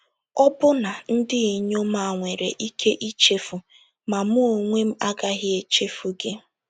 Ọbụna ndị inyom a nwere ike ichefu, ma mụ onwe m agaghị echefu gị. ”